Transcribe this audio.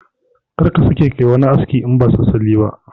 Kar ka sake ka yi wani aski in ba salliya ba